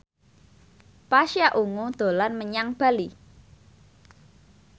Pasha Ungu dolan menyang Bali